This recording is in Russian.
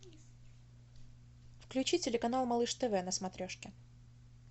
включи телеканал малыш тв на смотрешке